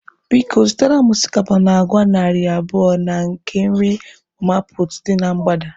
Biko, zụtara m osikapa na agwa narị abụọ na nke nri mama puutu dị na mgbada.